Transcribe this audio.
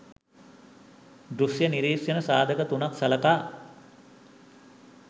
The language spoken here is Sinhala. දෘෂ්‍ය නිරීක්‍ෂණ සාධක තුනක් සලකා